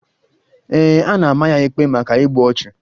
Ee, a na-ama ya ikpe maka igbu ọchụ.